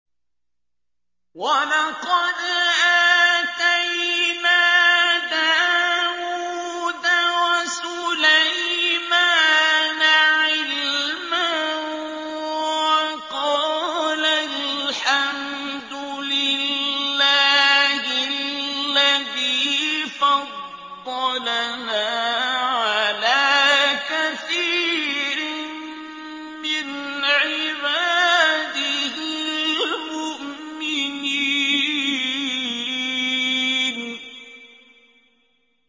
وَلَقَدْ آتَيْنَا دَاوُودَ وَسُلَيْمَانَ عِلْمًا ۖ وَقَالَا الْحَمْدُ لِلَّهِ الَّذِي فَضَّلَنَا عَلَىٰ كَثِيرٍ مِّنْ عِبَادِهِ الْمُؤْمِنِينَ